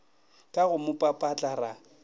ka go mo papatla ra